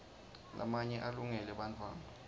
lamanye alungele bantfwana